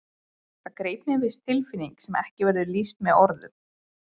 Það greip mig viss tilfinning sem ekki verður lýst með orðum.